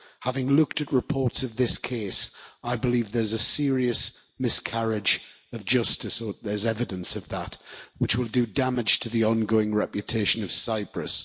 Having looked at reports of this case, I believe there's a serious miscarriage of justice, or there's evidence of that, which will do damage to the ongoing reputation of Cyprus.